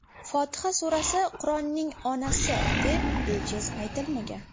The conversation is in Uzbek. Fotiha surasi Qur’onning onasi, deb bejiz aytilmagan.